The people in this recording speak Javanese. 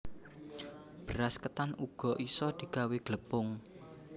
Beras ketan uga isa digawé glepung